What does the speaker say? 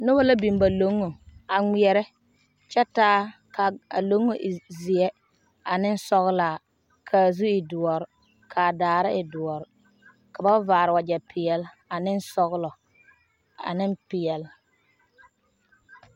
Noba la biŋ ba loŋŋo a ŋmeɛre. kyɛ kaa loŋŋo e zeɛ ane sɔglaa kaa zu e doɔre kaa daare e doɔre ka ba vaare wagyɛ pɛɛle ane sɔglɔ ane pɛɛle.